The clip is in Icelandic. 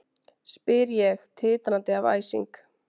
spyr ég, titrandi af æsingi.